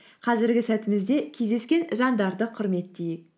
қазіргі сәтімізде кездескен жандарды құрметтейік